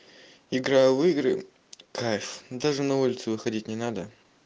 игра в игры кайф даже на улицу выходить не надо